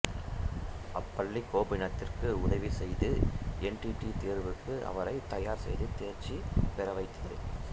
அப்பள்ளி கோபிநாத்துக்கு உதவி செய்து என் டி ஏ தேர்வுக்கு அவரை தயார் செய்து தேர்ச்சி பெற வைத்தது